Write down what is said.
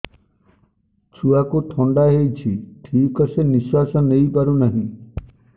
ଛୁଆକୁ ଥଣ୍ଡା ହେଇଛି ଠିକ ସେ ନିଶ୍ୱାସ ନେଇ ପାରୁ ନାହିଁ